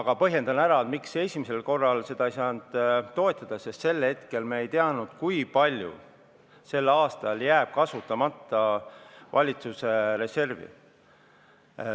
Ma põhjendan, miks esimesel korral ei saanud seda ettepanekut toetada: sel hetkel me ei teadnud, kui palju jääb sel aastal kasutamata valitsuse reservi.